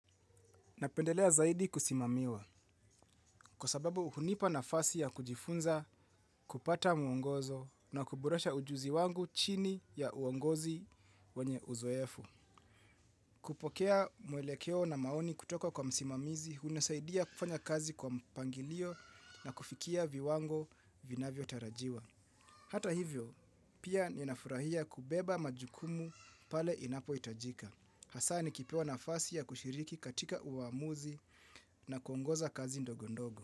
Napendelea zaidi kusimamiwa, kwa sababu hunipa nafasi ya kujifunza, kupata mwongozo na kuboresha ujuzi wangu chini ya uongozi wenye uzoefu. Kupokea mwelekeo na maoni kutoka kwa msimamizi, hunasaidia kufanya kazi kwa mpangilio na kufikia viwango vinavyo tarajiwa. Hata hivyo, pia ninafurahia kubeba majukumu pale inapo hitajika. Hasa nikipewa nafasi ya kushiriki katika uamuzi na kuongoza kazi ndogo ndogo.